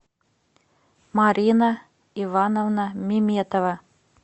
марина ивановна меметова